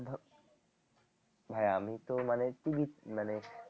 ভাইয়া আমি তো মানে মানে